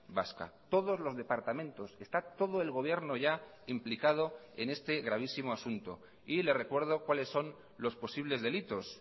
vasca todos los departamentos está todo el gobierno ya implicado en este gravísimo asunto y le recuerdo cuales son los posibles delitos